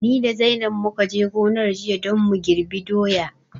Ni da zainab mukaje gonar jiya don mu girɓi doya